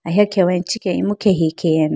ahi khewa ichikhiah imu khenge hi khe aya na.